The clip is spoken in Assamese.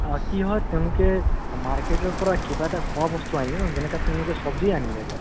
কি হয় তেওঁলোকে market ৰ পৰা কিবা এটা আনিলে ন যেনেকা তেওঁলোকে চব্জি আনিলে এটা